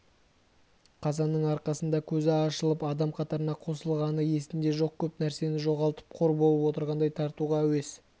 қазанның арқасында көзі ашылып адам қатарына қосылғаны есінде жоқ көп нәрсесін жоғалтып қор болып отырғандай тартуға әуес